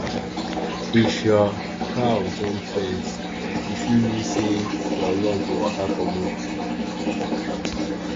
if your cow jump fence e fit mean say your luck dey waka comot.